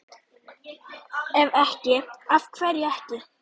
Ef ekki, AF HVERJU EKKI?